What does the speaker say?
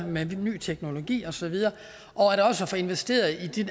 med ny teknologi og så videre og også få investeret i